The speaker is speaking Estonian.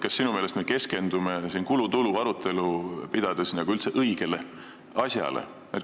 Kas me sinu meelest keskendume siin kulude ja tulude arutelu pidades üldse õigele asjale?